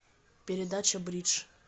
передача бридж